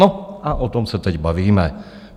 No a o tom se teď bavíme.